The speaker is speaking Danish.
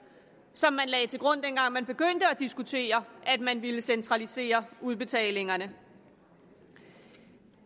som man lagde til grund dengang man begyndte at diskutere at man ville centralisere udbetalingerne